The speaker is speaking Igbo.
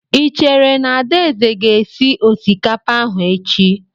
I chere na Adaeze ga-esi osikapa ahụ echi?